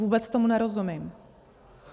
Vůbec tomu nerozumím.